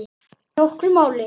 Ekki nokkru máli.